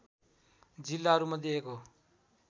जिल्लाहरूमध्ये एक हो